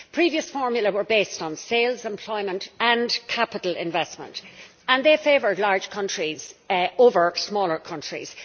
Previous formulae were based on sales, employment and capital investment, and they favoured large countries over smaller countries.